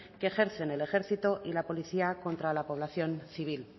que ejercen el ejército y la policía contra la población civil